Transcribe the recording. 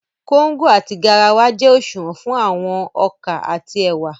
Kóngò àti garawa jẹ́ òṣùwọ̀n fún àwọn ọkà àti ẹ̀wà